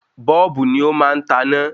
Bọ́ọ́bù ni ó má ń taná